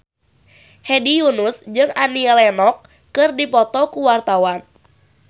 Hedi Yunus jeung Annie Lenox keur dipoto ku wartawan